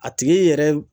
A tigi yɛrɛ